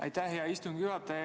Aitäh, hea istungi juhataja!